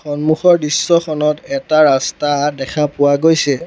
সন্মুখৰ দৃশ্যখনত এটা ৰাস্তা দেখা পোৱা গৈছে।